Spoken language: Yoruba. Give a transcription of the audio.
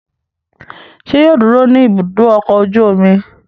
Ṣé yóò dúró ní Ibùdó-ọkọ̀ ojú-omi?